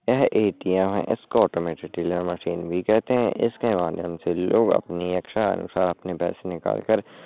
यह ए.टी.एम. इसको automated teller machine भी कहते हैंइसके माध्यम से लोग अपनी इच्छा अनुसार अपने पैसे निकाल कर--